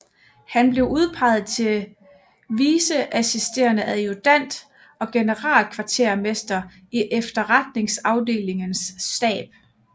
Han blev udpeget til vice assisterende adjutant og generalkvartermester i efterretningsafdelingens stab